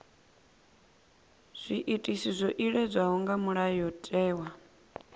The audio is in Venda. zwiitisi zwo iledzwaho nga mulayotewa